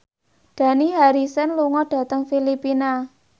Dani Harrison lunga dhateng Filipina